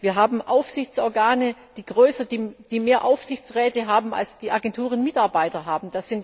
Wir haben Aufsichtsorgane, die mehr Aufsichtsräte haben, als die Agenturen Mitarbeiter haben.